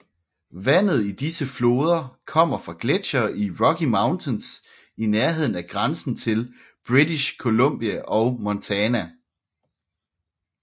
Vandet i disse floder kommer fra gletsjere i Rocky Mountains i nærheden af grænsen til British Columbia og Montana